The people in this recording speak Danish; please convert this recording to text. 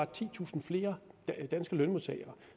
titusind flere danske lønmodtagere